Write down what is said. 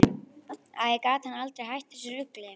Æ, gat hann aldrei hætt þessu rugli?